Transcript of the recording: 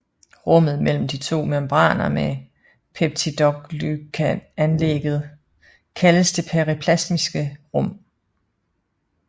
Rummet mellem de to membraner med peptidoglycanlaget kaldes det periplasmatiske rum